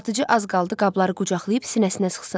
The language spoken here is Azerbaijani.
Satıcı az qaldı qabları qucaqlayıb sinəsinə sıxsın.